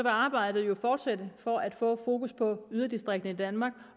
arbejdet jo fortsætte for at få fokus på yderdistrikterne i danmark